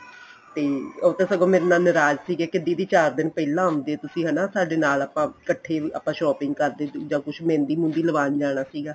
ਤੇ ਉਹ ਤਾਂ ਸਗੋਂ ਮੇਰੇ ਨਲ ਨਰਾਜ਼ ਸੀਗੇ ਕੇ ਦੀਦੀ ਚਾਰ ਦਿਨ ਪਹਿਲਾਂ ਆਂਦੇ ਤੁਸੀਂ ਹਨਾ ਸਾਡੇ ਨਾਲ ਆਪਾਂ ਇੱਕਠੇ ਆਪਾਂ shopping ਕਰਦੇ ਸੀ ਜਾਂ ਕੁੱਝ ਮਹਿੰਦੀ ਮੁਹਦੀ ਲਵਾਂਣ ਜਾਣਾ ਸੀਗਾ